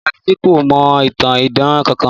Ìyá Títí kò mọ ìtàn idán kankan